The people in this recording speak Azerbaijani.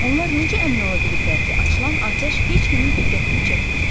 Onlar necə əmin ola biliblər ki, açılan atəş heç kimin diqqətini çəkməyəcək?